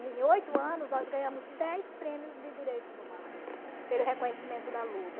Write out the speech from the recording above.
Em oito anos, nós ganhamos dez prêmios de direitos humanos pelo reconhecimento da luta.